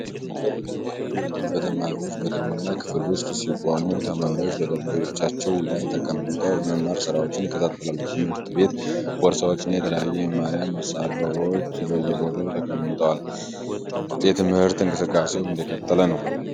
አንድ መምህር ሙሉ በሙሉ በተማሪዎች በተሞላ የክፍል ውስጥ ሲቆም ተማሪዎቹ በየጠረጴዛዎቻቸው ላይ ተቀምጠው የመማር ሥራቸውን ይከታተላሉ። የትምህርት ቤት ቦርሳዎችና የተለያዩ የመማሪያ መሳሪያዎች በየቦታው ተቀምጠዋል፣ የትምህርት እንቅስቃሴው እንደቀጠለ ነው።